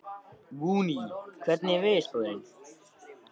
Voney, hvernig er veðurspáin?